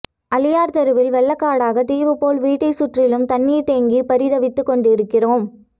அலியார் தெருவில் வெள்ளக்காடாக தீவு போல் வீட்டை சுற்றிலும் தண்ணீர் தேங்கி பரிதவித்துக்கொண்டிருக்கிரோம்